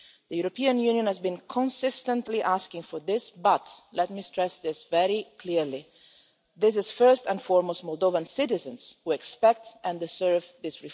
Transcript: The European Union has been consistently asking for these reforms, but and let me stress this very clearly it is, first and foremost, Moldovan citizens who expect and deserve them.